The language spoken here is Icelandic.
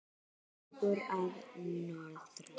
Sögur að norðan.